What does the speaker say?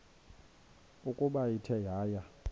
ukuba ithe yaya